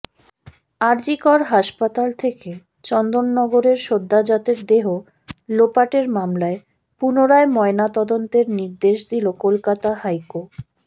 আরজিকর হাসপাতাল থেকে চন্দননগরের সদ্যোজাতের দেহ লোপাটের মামলায় পুনরায় ময়না তদন্তের নির্দেশ দিল কলকাতা হাইকো